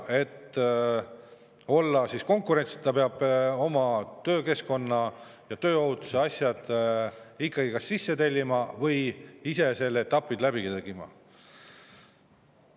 Et olla konkurentsis, peab oma töökeskkonna ja tööohutuse asjad ikkagi kas sisse tellima või ise need etapid läbi tegema.